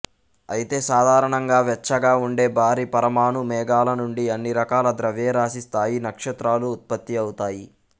అయితే సాధారణంగా వెచ్చగా ఉండే భారీ పరమాణు మేఘాల నుండి అన్ని రకాల ద్రవ్యరాశి స్థాయి నక్షత్రాలూ ఉత్పత్తి అవుతాయి